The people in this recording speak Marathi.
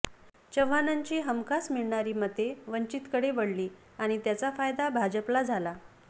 चव्हाणांची हमखास मिळणारी मते वंचितकडे वळली आणि त्याचा फायदा भाजपला झाला